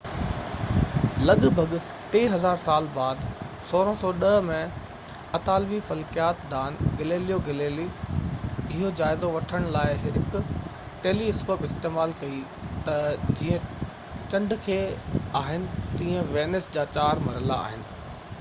لڳ ڀڳ ٽي هزار سال بعد 1610 ۾ اطالوي فلڪيات دان گيليليو گيليلي اهو جائزو وٺڻ لاءِ هڪ ٽيلي اسڪوپ استعمال ڪئي ته جيئن چنڊ کي آهن تيئن وينس جا چار مرحلا آهن